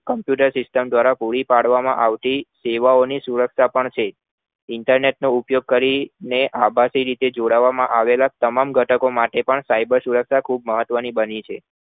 Computer System દ્વારા પૂરી પાડવામાં આવતી સેવાઓ ની સુરક્ષા પણ Internet નો ઉપયોગ કરીને આબાદી રીતે જોડવામાં આવેલા તમામ ઘટકો માટે પણ cyber સુરક્ષા પણ ખુબ મહત્વની બની છે